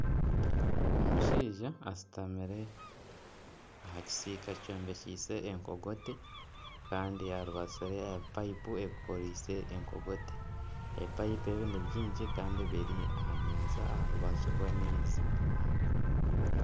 Omushaija ashutamire aha kisiika kyombekiise enkogote kandi aribatsire aha bipayipu bikorise enkogote. Ebipayipu ebi nibingi kandi biri aha nyanja aha rubaju rw'amaizi.